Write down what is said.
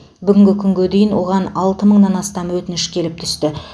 бүгінгі күнге дейін оған алты мыңнан астам өтініш келіп түсті